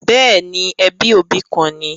Bẹ́ẹ̀ni, ẹbí òbí kan ni